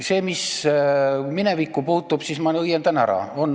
Selle, mis minevikku puutub, ma õiendan ära.